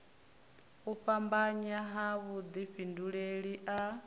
u fhambanya ha vhudifhinduleli a